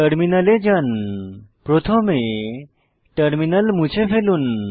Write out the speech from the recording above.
টার্মিনালে যান প্রথমে টার্মিনাল মুছে ফেলুন